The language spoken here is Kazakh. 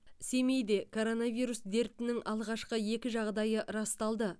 семейде коронавирус дертінің алғашқы екі жағдайы расталды